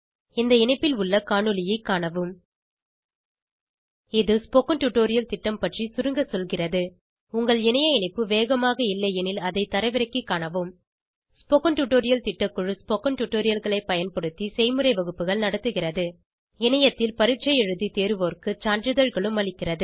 இந்த இணைப்பில் உள்ள காணொளியைக் காணவும் httpspoken tutorialorgWhat is a Spoken tutorial இது ஸ்போகன் டுடோரியல் திட்டம் பற்றி சுருங்க சொல்கிறது உங்கள் இணைய இணைப்பு வேகமாக இல்லையெனில் அதை தரவிறக்கிக் காணவும் ஸ்போகன் டுடோரியல் திட்டக்குழு ஸ்போகன் டுடோரியல்களைப் பயன்படுத்தி செய்முறை வகுப்புகள் நடத்துகிறது இணையத்தில் பரீட்சை எழுதி தேர்வோருக்கு சான்றிதழ்களும் அளிக்கிறது